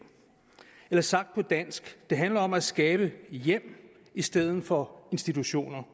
eller sagt på dansk det handler om at skabe hjem i stedet for institutioner